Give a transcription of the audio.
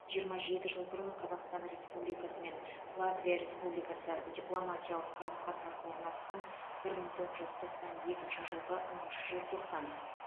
жиырма жеті жыл бұрын қазақстан республикасы мен латвия республикасы дипломатиялық қарым қатынас орнатқан бір мың тоғыз жүз тоқсан екінші жылғы оныншы желтоқсан